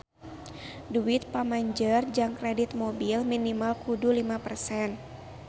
Duit pamanjer jang kredit mobil minimal kudu lima persen